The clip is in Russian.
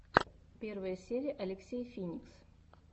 первая серия алексей финикс